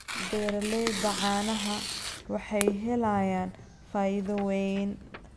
Beeralayda caanaha waxay helayaan faa'iido weyn.